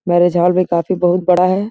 Marriage hall भी काफ़ी बहुत बड़ा है।